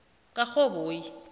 karhoboyi